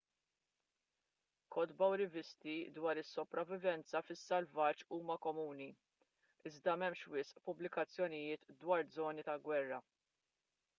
kotba u rivisti dwar is-sopravivenza fis-selvaġġ huma komuni iżda m'hemmx wisq pubblikazzjonijiet dwar żoni tal-gwerra